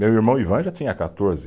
Meu irmão Ivan já tinha quatorze